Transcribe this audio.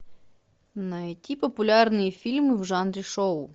найти популярные фильмы в жанре шоу